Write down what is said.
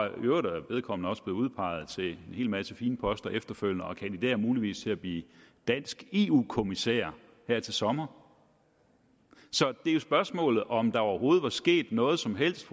øvrigt er vedkommende også blevet udpeget til en hel masse fine poster efterfølgende og kandiderer muligvis til at blive dansk eu kommissær her til sommer så det er jo spørgsmålet om der overhovedet var sket noget som helst